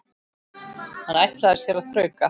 Hann ætlaði sér að þrauka.